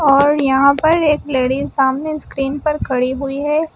और यहां पर एक लेडिस सामने स्क्रीन पर खड़ी हुई है।